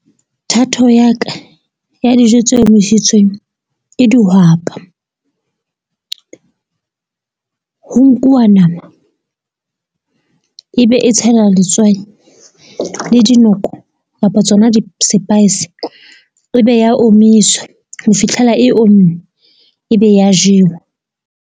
Thato ya ka ya dijo tse omisitsweng ke dihwapa ho nkuwa nama ebe e tshela letswai le dinoko kapa tsona di-spice. E be ya omiswa ho fitlhela e omme e be ya jewa.